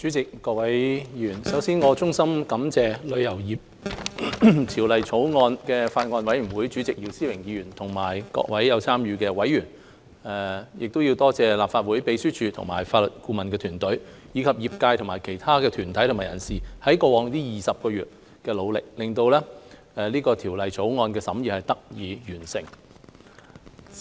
代理主席、各位議員，首先，我要衷心感謝《旅遊業條例草案》委員會主席姚思榮議員及各位有參與的委員、立法會秘書處和法律顧問團隊，以及業界和其他團體和人士，在過去20個月的努力，令《旅遊業條例草案》的審議工作得以完成。